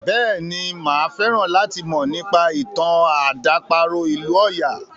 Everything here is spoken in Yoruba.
Bẹ́ẹ̀ni, máa fẹ́ràn láti mọ̀ nípa ìtàn àdàparo ìlú ọya.